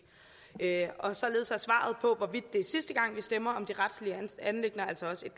og således er svaret på hvorvidt det er sidste gang vi stemmer om de retlige anliggender altså også et